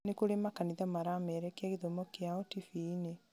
nĩ kũrĩ makanitha maramerekia gĩthomo kĩao tibii-inĩ